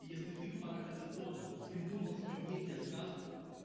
если ты в парах ацетона придумал себе мнение сказку